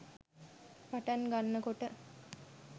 පටන් ගන්නකොට